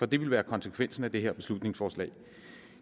det ville være konsekvensen af det her beslutningsforslag